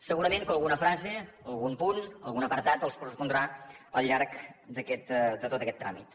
segurament que alguna frase algun punt algun apartat els correspondrà al llarg de tot aquest tràmit